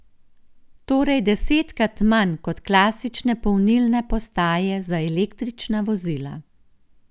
Torej desetkrat manj kot klasične polnilne postaje za električna vozila.